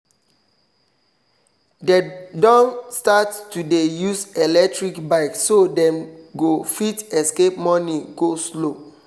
dem don start to dey use electric bike so them go fit escape morning go-slow